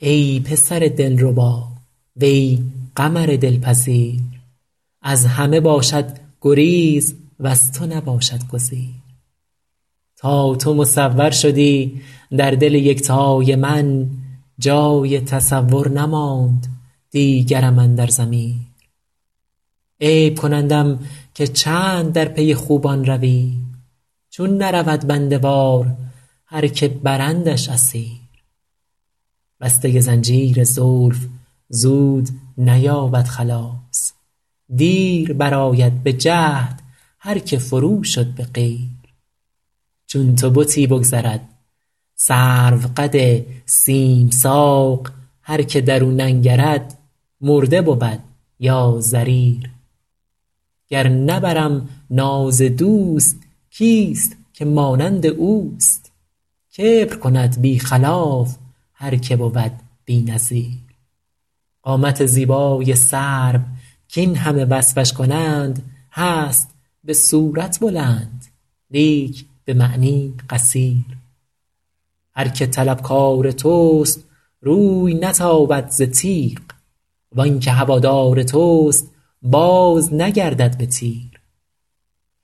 ای پسر دلربا وی قمر دلپذیر از همه باشد گریز وز تو نباشد گزیر تا تو مصور شدی در دل یکتای من جای تصور نماند دیگرم اندر ضمیر عیب کنندم که چند در پی خوبان روی چون نرود بنده وار هر که برندش اسیر بسته زنجیر زلف زود نیابد خلاص دیر برآید به جهد هر که فرو شد به قیر چون تو بتی بگذرد سروقد سیم ساق هر که در او ننگرد مرده بود یا ضریر گر نبرم ناز دوست کیست که مانند اوست کبر کند بی خلاف هر که بود بی نظیر قامت زیبای سرو کاین همه وصفش کنند هست به صورت بلند لیک به معنی قصیر هر که طلبکار توست روی نتابد ز تیغ وان که هوادار توست بازنگردد به تیر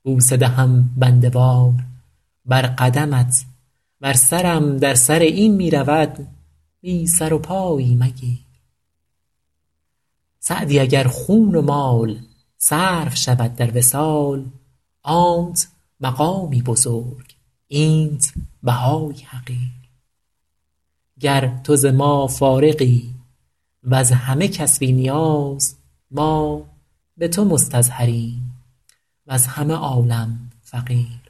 بوسه دهم بنده وار بر قدمت ور سرم در سر این می رود بی سر و پایی مگیر سعدی اگر خون و مال صرف شود در وصال آنت مقامی بزرگ اینت بهایی حقیر گر تو ز ما فارغی وز همه کس بی نیاز ما به تو مستظهریم وز همه عالم فقیر